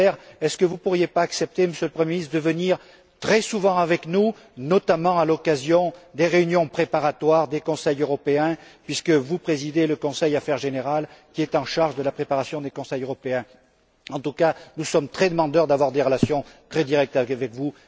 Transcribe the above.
Ne pourriez vous pas accepter, Monsieur le premier ministre, de venir nous rencontrer plus souvent, notamment à l'occasion des réunions préparatoires des Conseils européens, puisque vous présidez le Conseil Affaires générales, qui est en charge de la préparation des Conseils européens? En tout cas, nous sommes très demandeurs de relations très directes avec vous.